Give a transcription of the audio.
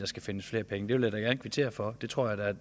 skal findes flere penge det vil jeg kvittere for det tror jeg